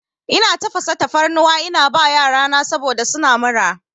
Ina tafasa tafarnuwa ina ba yarana saboda suna mura.